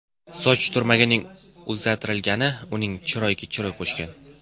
Soch turmagining o‘zgartirgani uning chiroyiga chiroy qo‘shgan.